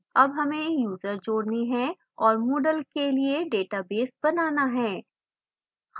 add हमें user जोड़ने हैं और moodle के लिए database बनाना है